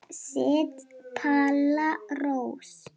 Ég set Palla Rós.